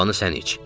Şorbanı sən iç.